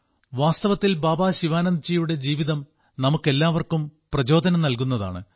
വാസ്തവത്തിൽ ബാബാ ശിവാനന്ദ്ജിയുടെ ജീവിതം നമുക്കെല്ലാവർക്കും പ്രചോദനം നൽകുന്നതാണ്